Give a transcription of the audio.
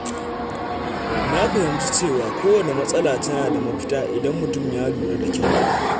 Na fahimci cewa kowanne matsala tana da mafita idan mutum ya lura da kyau.